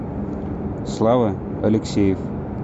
слава алексеев